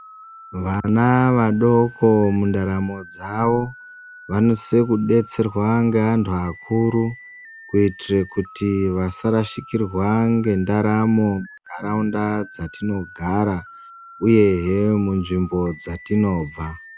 Vana vadoko mundaramo dzawo vanosise kudetserwa ngeantu akuru kuitire kuti vasarashikirwa ngendaramo munharaunda dzatinogara uyehe munzvimbo dzatinobva .